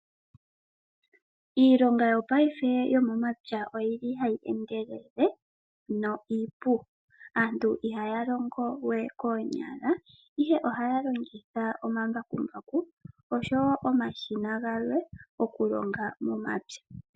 Iilonga yopayife yo momapya oyili hayi endelele na iipu. Aantu ihaya longo we koonyala Ihe ohaya longitha omambakumbaku oshowo omashina galwe okulonga momapya.